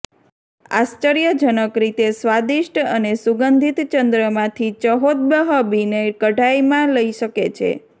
આશ્ચર્યજનક રીતે સ્વાદિષ્ટ અને સુગંધિત ચંદ્રમાંથી ચહૌહ્હબીને કઢાઈમાં લઈ શકે છે